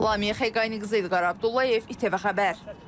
Lamiyə Xəqaniqızı, İlqar Abdullayev, ITV xəbər.